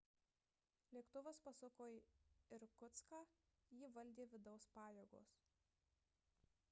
lėktuvas pasuko į irkutską jį valdė vidaus pajėgos